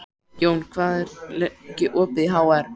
Jón, hvað er lengi opið í HR?